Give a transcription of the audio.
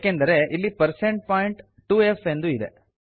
ಏಕೆಂದರೆ ಇಲ್ಲಿ percent point 2ಫ್ ಎಂದಿದೆ